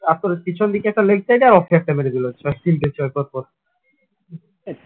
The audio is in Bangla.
তারপর পিছন দিকে একটা leg side এ আর off এ একটা মেরে দিল তিনটে ছয় পরপর